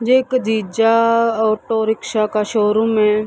Rake जीज्जा auto rickshaw का showroom है।